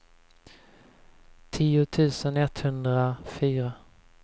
tio tusen etthundrafyra